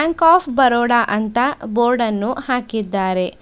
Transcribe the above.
Bank of Baroda ಅಂತ board ಅನ್ನು ಹಾಕಿದ್ದಾರೆ.